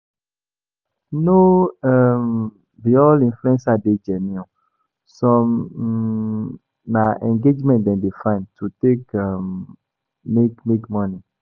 No um be all influencers dey genuine, some um na engagement dem dey find to take um make make money